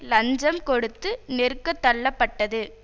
லஞ்சம் கொடுத்து நெருக்கத் தள்ளப்பட்டது